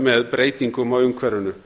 með breytingum á umhverfinu